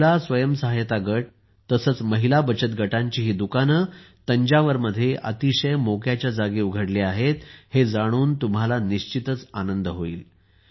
महिला स्वयंसहायता गट तसेच महिला बचत गटांची ही दुकाने तंजावरमध्ये अतिशय मोक्याच्या जागी उघडली आहेत हे जाणून तुम्हाला निश्चितच आनंद होईल